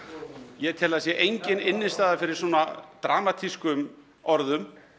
ég tel að það sé engin fyrir svona dramatískum orðum